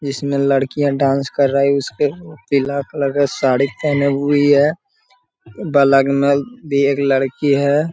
जिसमे लडकियाँ डांस कर रहे उसके पीला कलर का साड़ी पहने हुई है बगल में भी एक लड़की है।